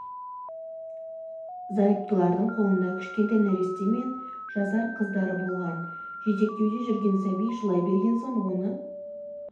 зайыптылардың қолында кішкентай нәресте мен жасар қыздары болған жетектеуде жүрген сәби жылай берген соң оны